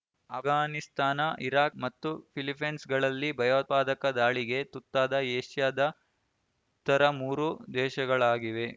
Afghanistan Iraq ಮತ್ತು ಫಿಲಿಪ್ಪೀನ್ಸ್‌ಗಳಲ್ಲಿ ಭಯೋತ್ಪಾದಕ ದಾಳಿಗೆ ತುತ್ತಾದ ಏಷ್ಯಾದ ಇತರ ಮೂರು ದೇಶಗಳಾಗಿವೆ